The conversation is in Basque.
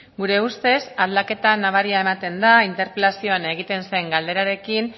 gure ustez aldaketa nabaria ematen da interpelazioan egiten zen galderarekin